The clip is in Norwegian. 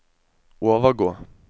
overgå